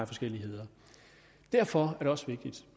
forskelligheder derfor er det også vigtigt